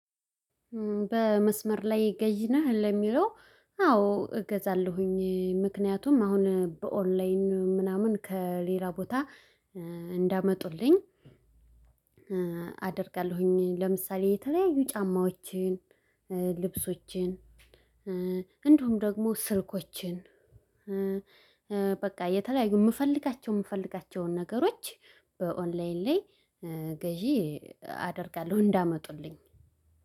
በመስመር ላይ ገዢ ነህ ለሚለው? አዎ እገዛለሁኝ ምክንያቱም አሁን በኦንላይን ምናምን ከሌላ ቦታ እንዳመጡልኝ አደርጋለሁኝ። ለምሳሌ የተለያዩ ጫማዎችን ልብሶችን እንዲሁም ደግሞ ስልኮችን። በቃ የተለያዩ ምፈልጋቸው ምፈልጋቸውን ነገሮች በኦንላይን ላይ ግዢ አደርጋለሁ። እንዳመጡልኝ